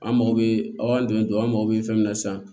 An mago bɛ aw dɛmɛ dɔrɔn an mago bɛ fɛn min na sisan